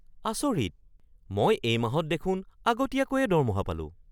আচৰিত! মই এই মাহত দেখোন আগতীয়াকৈয়ে দৰমহা পালোঁ!